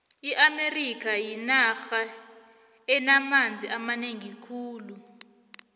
iamerika yinarha enamanzi amanengi khulu